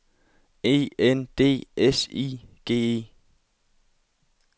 E N D S I G E